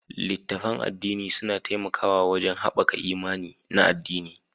Littattafan addini suna taimakawa wajen haɓaka imani na addini